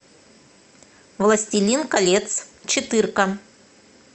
властелин колец четырка